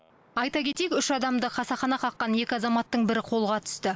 айта кетейік үш адамды қасақана қаққан екі азаматтың бірі қолға түсті